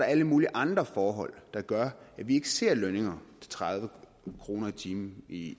alle mulige andre forhold der gør at vi ikke ser lønninger til tredive kroner i timen i